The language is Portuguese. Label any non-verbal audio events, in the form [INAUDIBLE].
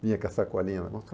Vinha com a sacolinha. [UNINTELLIGIBLE]